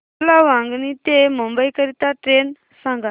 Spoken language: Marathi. मला वांगणी ते मुंबई करीता ट्रेन सांगा